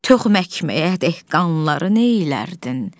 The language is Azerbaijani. toxməkməyədik qanları neylərdin?